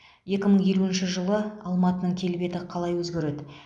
екі мың елуінші жылы алматының келбеті қалай өзгереді